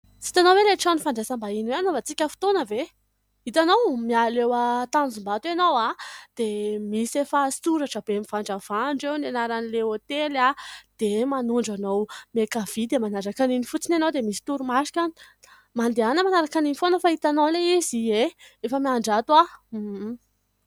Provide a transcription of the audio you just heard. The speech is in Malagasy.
Tsy hitanao ve ilay trano fandraisam-bahiny hoe hanaovantsika fotoana ve ? Itanao, miala eo an-Tanjombato ianao dia misy efa soratra be miandravandra eo, ny anara'ilay hôtely dia manondro anao miankavia dia manaraka an'iny fotsiny ianao dia misy toromarika any. Mandehana manaraka an'iny foana fa hitanao ilay izy. Ie, efa miandry ato aho.